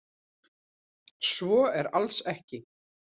Svo er alls ekki.